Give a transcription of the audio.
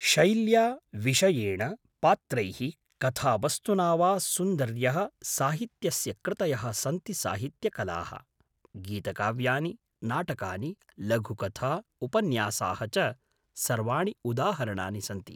शैल्या, विषयेण, पात्रैः, कथावस्तुना वा सुन्दर्यः साहित्यस्य कृतयः सन्ति साहित्यकलाः। गीतकाव्यानि, नाटकानि, लघुकथा, उपन्यासाः च सर्वाणि उदाहरणानि सन्ति।